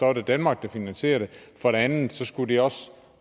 er det danmark der finansierer det og for det andet skulle det også